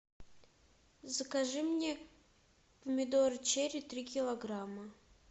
закажи мне помидоры черри три килограмма